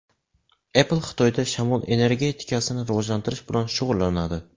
Apple Xitoyda shamol energetikasini rivojlantirish bilan shug‘ullanadi.